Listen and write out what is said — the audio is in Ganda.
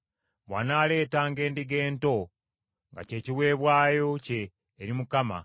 Bw’anaaleetanga endiga ento nga kye kiweebwayo kye eri Mukama ,